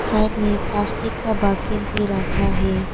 Side में plastic का bucket भी रखा है।